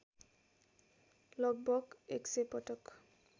लगभग १०० पटक